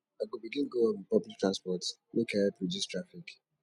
i go begin go work wit public transport make i help reduce traffic